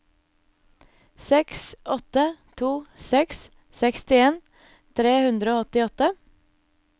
seks åtte to seks sekstien tre hundre og åttiåtte